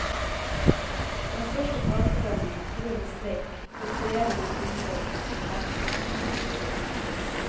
Den største fagforeningen truer med streik hvis regjeringen innfører resultatlønn.